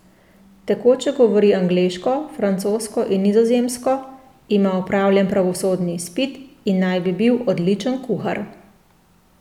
Tekoče govori angleško, francosko in nizozemsko, ima opravljen pravosodni izpit in naj bi bil odličen kuhar.